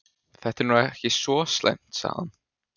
Þetta er nú ekki svo slæmt sagði hann.